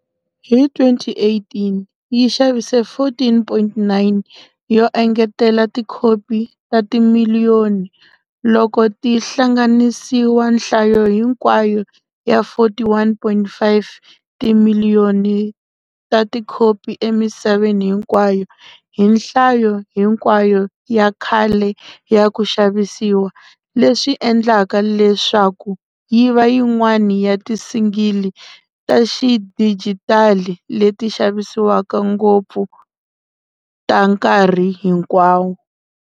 Hi 2018, yi xavise 14.9 yo engetela tikhopi ta timiliyoni, loko ti hlanganisiwa nhlayo hinkwayo ya 41,5 timiliyoni ta tikhopi emisaveni hinkwayo hi nhlayo hinkwayo ya khale ya ku xavisiwa, leswi endlaka leswaku yi va yin'wana ya ti-single ta xidijitali leti xavisiwaka ngopfu ta nkarhi hinkwawo.